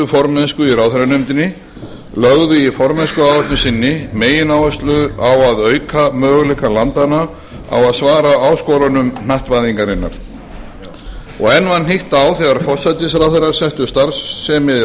formennsku í ráðherranefndinni lögðu í formennskuáætlun sinni megináhersluna á að auka möguleika landanna á að svara áskorunum hnattvæðingarinnar og enn var hnykkt á þegar forsætisráðherrarnir settu starfsemi